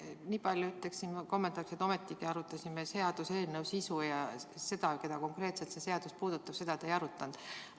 Nii palju ütlen veel kommentaariks, et jutt on ometigi seaduseelnõu sisust, aga seda, keda konkreetselt see puudutab, te ei arutanud.